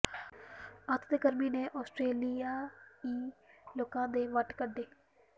ਅੱਤ ਦੀ ਗਰਮੀ ਨੇ ਆਸਟ੍ਰੇਲੀਆਈ ਲੋਕਾਂ ਦੇ ਵੱਟ ਕੱਢੇ